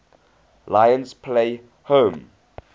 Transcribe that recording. lions play home